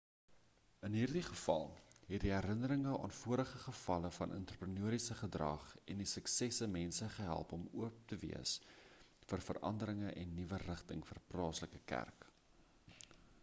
in hierdie geval het die herinnering aan vorige gevalle van entrepreneuriese gedrag en die suksesse mense gehelp om oop te wees vir veranderinge en nuwe rigting vir die plaaslike kerk